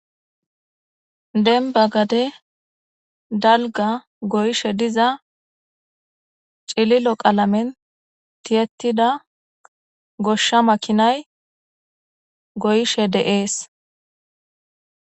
Dembba gade dalga goyishe diza cililo qalamen tiyetida goshsha makinay goyishe de'ees.